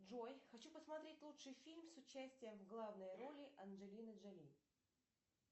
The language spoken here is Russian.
джой хочу посмотреть лучший фильм с участием в главной роли анджелины джоли